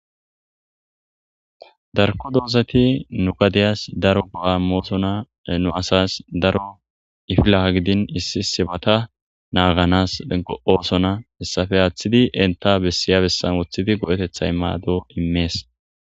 Darkko dozzathi nu gadiyss daro goo'a imosona. Nu assas daro idilakka gidin issi issibatha naganas go'ssonna hayssape attidi entta besya besan wottidi goo'thetha mado imess.